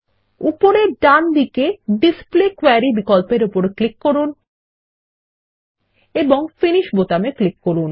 উপরে ডান দিকে ডিসপ্লে কোয়েরি বিকল্পের উপর ক্লিক করুন এবং ফিনিশ বোতামে ক্লিক করুন